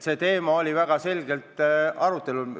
See teema oli väga selgelt arutelul.